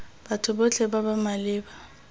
batho botlhe ba ba maleba